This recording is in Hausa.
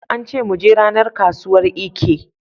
Aka ce mu je ranar kasuwar Eke.